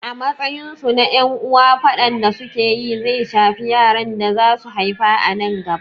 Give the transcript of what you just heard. A matsayin su na ƴan uwa, faɗan da su ke yi zai shafi yaran da za su haifa a nan gaba.